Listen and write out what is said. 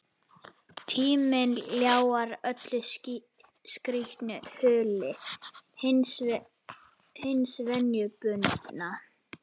Tíminn ljáir öllu skrýtnu hulu hins venjubundna.